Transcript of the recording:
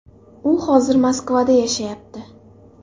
U hozir Moskvada yashayapti.